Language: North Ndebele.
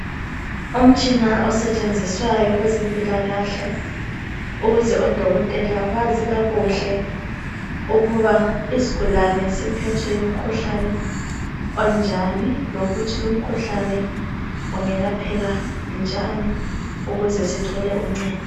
Umtshina osetshenziswayo kwezempilakahle, ukuze odokotela bazi kakuhle ukuba isigulani siphethwe ngumkhuhlane onjani, lokuthi lumkhuhlabe ungelapheka njani ukuze sithole uncedo.